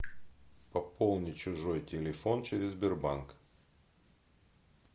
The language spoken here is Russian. пополни чужой телефон через сбербанк